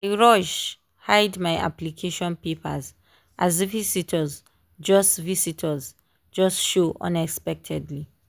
i rush hide my application papers as visitors just visitors just show unexpectedly